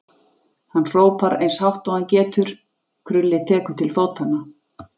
Hann hrópar eins hátt og hann getur, Krulli tekur til fótanna.